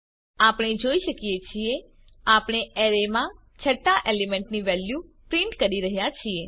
આપણે જોઈ શકીએ છીએ આપણે અરેમાં છઠ્ઠા એલિમેન્ટની વેલ્યુ પ્રિન્ટ કરી રહ્યા છીએ